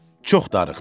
Çox darıxdı.